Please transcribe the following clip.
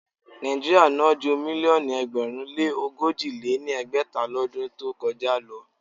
Nàíjíríà ná ju mílíọ̀nù ẹgbẹ̀rún lé ogójì lé ní ẹgbẹ́ta lọdún tó kọjá lọ.